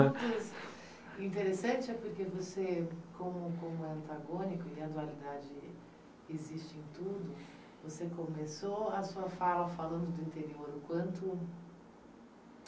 O interessante é porque você, como como é antagônico e a dualidade existe em tudo, você começou a sua fala falando do interior, o quanto